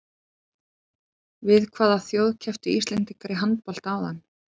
Við hvaða þjóð kepptu Íslendingar í handbolta áðan?